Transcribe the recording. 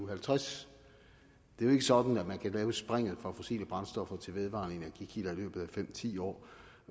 og halvtreds det er jo ikke sådan at man kan tage springet fra fossile brændstoffer til vedvarende energi kilder i løbet af fem ti år